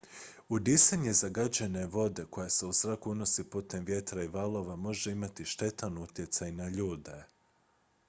udisanje zagađene vode koja se u zrak unosi putem vjetra i valova može imati štetan utjecaj na ljude